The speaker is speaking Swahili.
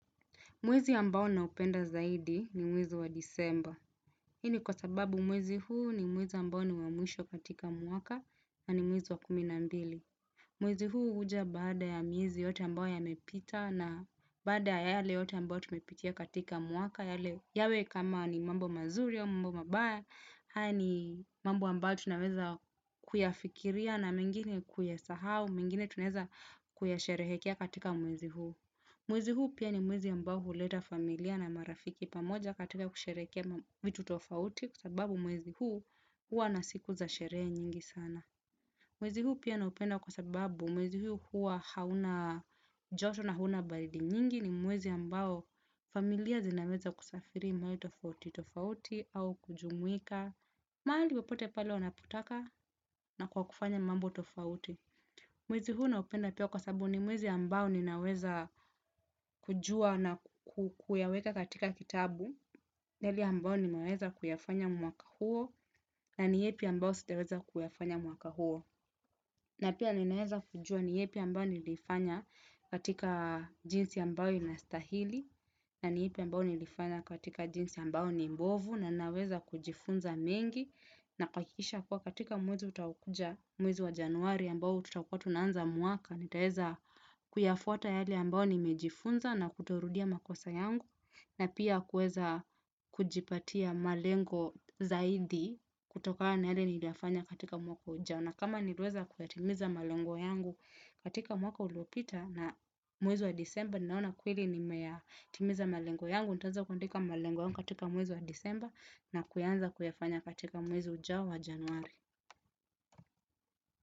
Mwezi ambao naupenda zaidi ni mwezi wa disemba. Hini kwa sababu mwezi huu ni mwezi ambao ni wa mwisho katika mwaka na ni mwezi wa kuminambili. Mwezi huu uja baada ya mwezi yote ambao ya mepita na baada ya yale yote ambao tumepitia katika mwaka yale yawe kama ni mambo mazuri au mambo mabaya. Haya ni mambo ambayo tunaweza kuyafikiria na mingine kuyasahau mingine tuneza kuyasherehekea katika mwezi huu. Mwezi huu pia ni mwezi ambao huleta familia na marafiki pamoja katika kusherekea vitu tofauti kusababu mwezi huu hua nasiku za sherehe nyingi sana. Mwezi huu pia naupenda kwa sababu mwezi huu hauna joto na huna baridi nyingi ni mwezi ambao familia zinaweza kusafiri maeneo tofauti tofauti au kujumwika. Mahali pepote pale wanapotaka na kwa kufanya mambo tofauti. Mwezi huo naopenda pia kwa sababu ni mwezi ambao ninaweza kujua na kukuyaweka katika kitabu, yale ambao ninaweza kuyafanya mwaka huo, na ni yapi ambao sijaweza kuyafanya mwaka huo. Na pia ninaeza kujua ni yepi ambayo nilifanya katika jinsi ambayo inastahili na ni yepe ambayo nilifanya katika jinsi ambayo ni mbovu na naweza kujifunza mengi na kuakikisha kwa katika muwezi utaokuja mwezi wa januari ambayo tutawukuwa tunanza mwaka. Nitaeza kuyafuata yale ambao nimejifunza na kutorudia makosa yangu. Na pia kueza kujipatia malengo zaidi kutoka na yale niliafanya katika mwaka ujao na kama nilweza kuyatimiza malengo yangu katika mwaka ulopita na mwezi wa disemba ninaona kuili nimeyatimiza malengo yangu, nitaeza kuyatimiza malengo yangu katika mwezi wa disemba. Na kuyanza kuyafanya katika mwezi ujao wa januari.